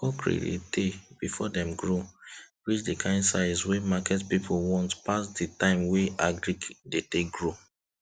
cockerel dey tay before dem grow reach the kind size wey market people want pass the time wey agric dey take grow